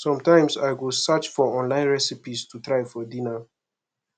sometimes i go search for online recipes to try for dinner